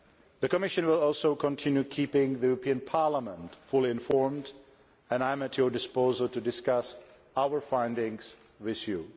The Commission will also continue keeping the European Parliament fully informed and I am at your disposal to discuss our findings with you.